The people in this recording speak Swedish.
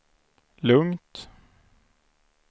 lugnt